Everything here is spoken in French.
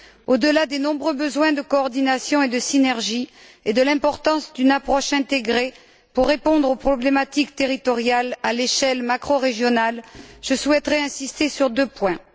Au delà des nombreux besoins de coordination et de synergie et de l'importance d'une approche intégrée, pour répondre aux problématiques territoriales à l'échelle macrorégionale, je souhaiterais insister sur deux points.